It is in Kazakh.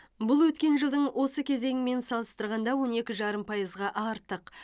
бұл өткен жылдың осы кезеңімен салыстырғанда он екі жарым пайызға артық